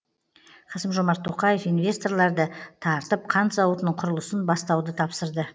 қасым жомарт тоқаев инвесторларды тартып қант зауытының құрылысын бастауды тапсырды